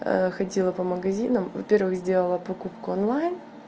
ходила по магазинам во первых сделала покупку онлайн